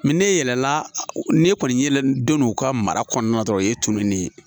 ne yɛlɛla ne kɔni ye don u ka mara kɔnɔna dɔrɔn o ye tununi ye